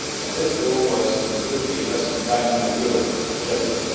This goal was to improve the investment climate in Europe in general.